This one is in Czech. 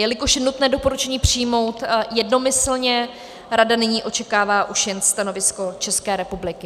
Jelikož je nutné doporučení přijmout jednomyslně, Rada nyní očekává už jen stanovisko České republiky.